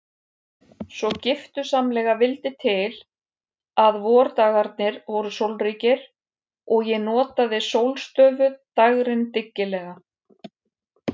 Svo giftusamlega vildi til að vordagarnir voru sólríkir og ég notaði sólstöfuð dægrin dyggilega.